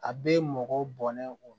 A bɛ mɔgɔ bɔnnen o